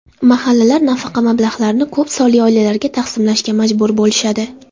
Mahallalar nafaqa mablag‘larini ko‘p sonli oilalarga taqsimlashga majbur bo‘lishadi.